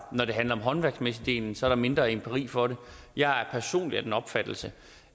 når det handler om den håndværksmæssige del er der mindre empiri for det jeg er personligt af den opfattelse